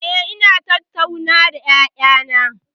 Eh, ina tattauna da ƴaƴana.